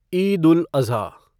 Eid ul Azha